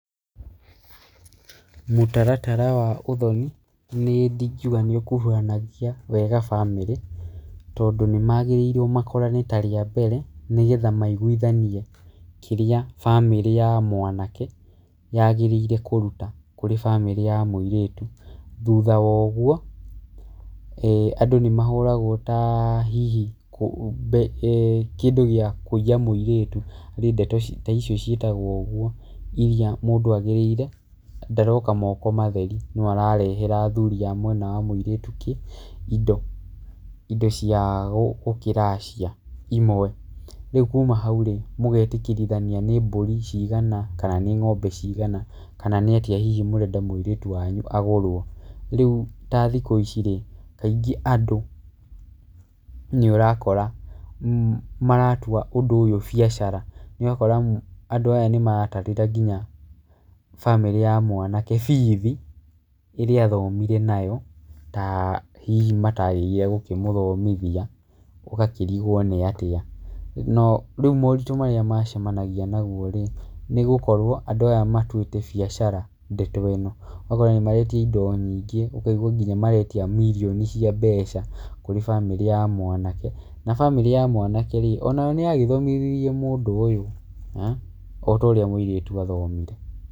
Mũtaratara wa ũthoni niĩ ingiuga nĩũkuruhanagia wega bamĩrĩ, tondũ nĩmagĩrĩirwo makorane ta rĩambere, nĩgetha maiguithanie kĩrĩa bamĩrĩ ya mwanake, yagĩrĩire kũruta kũrĩ bamĩrĩ ya mũirĩtu thutha wa ũguo, andũ nĩmahũragwo ta hihi mbe kĩndũ gĩa kuiya mũirĩtu nĩ ndeto ta icio ciĩtagwo ũguo iria mũndũ agĩrĩire, ndaroka moko matheri, no ararehera athuri a mũirĩtu indo indo cia gũ gũkĩracia. Imwe rĩu kuma hau rĩ, mũgetĩkĩrithania nĩ mbũri cigana, kana nĩ ngombe cigana, kana nĩatia hihi mũrenda mũirĩtu wanyu agũrwo, rĩũ ta thikũ ici rĩ, kaingĩ andũ nĩũrakora maratua ũndũ ũyũ biacara, ũgakora andũ aya nĩmatarire nginya bamĩrĩ ya mwanake bithi, ĩrĩa athomire nayo, ta hihi matagĩrĩire kũmũthomithia, ũgakĩrigwo nĩ atĩa, no rĩu maũndũ marĩa macemanagia naguo rĩ, nĩgũkorwo andũ aya matuĩte bĩacara ndeto ĩno, maretia indo nyingĩ ũkaigua nginya maretia mirioni cia mbeca, kũrĩ bamĩrĩ ya mwanake na bamĩrĩ ya mwanake rĩ, onayo nĩyathomithirie mũndũ ũyũ, otorĩa mũirĩtu athomire.